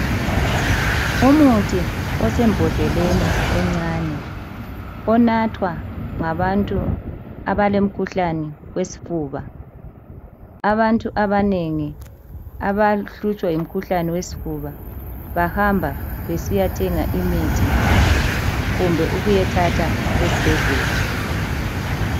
Umuthi osembondleni yomuthi omncane ,anathwa ngabantu abalomkhuhlane wesifuba , Abantu abanengi abahlutshwa yisifuba bayasebenzisa kumbe bahambe bayewathatha ezibhedlela.